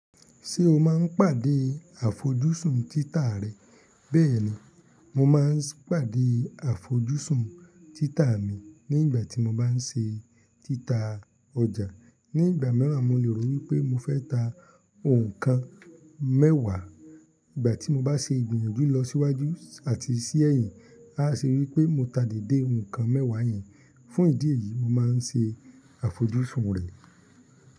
Ṣé o máa ń pàdé àfojúsùn títà rẹ? Bẹ́ẹ̀ni, mo máa ń pàdé àfojúsùn títà mi nígbà tí mo bá ń ṣe títà ọjà. Nígbà mìíràn, mo lè rò wípé mo fẹ́ ta òǹkan mẹ́wàá, ìgbà tí mo bá ṣe ìgbìyànjú lọ síwájú àti sí èyìn, á ṣe wípé mo ta dède ǹkan mẹ́wàá yẹn. Fún ìdí èyí, mo máa ń ṣe àfojúsùn rẹ̀.